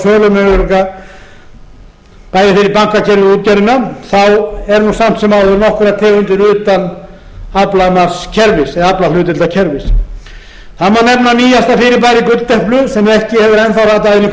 veðsetningarmöguleika og sölumöguleika bæði fyrir bankakerfið og útgerðina eru samt sem áður nokkrar tegundir utan aflahlutdeildarkerfis það má nefna nýjasta fyrirbærið gulldeplu sem ekki hefur enn þá ratað inn í